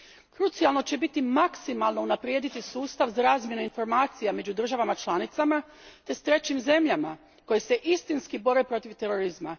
Krucijalno će biti maksimalno unaprijediti sustav za razmjenu informacija među državama članicama te s trećim zemljama, koje se istinski bore protiv terorizma.